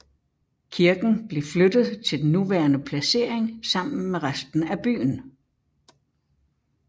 Kirken blev flyttet til den nuværende placering sammen med resten af byen